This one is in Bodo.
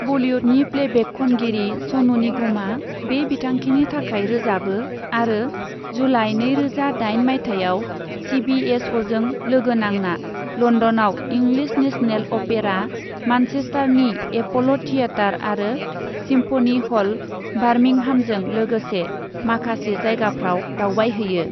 बलीवुडनि प्लेबेक खनगिरि सनू निगमआ बे बिथांखिनि थाखाय रोजाबो आरो जुलाई नैरोजा दाइन मायथाइयाव सी बी एस अ'जों लोगो नांना लन्दनआव इंलिश नेशनेल अपेरा, मानचेस्टारनि एप'ल' थियेटार आरो सिम्फनी ह'ल, बार्मिंहामजों लोगोसे माखासे जायगाफ्राव दावबायहैयो।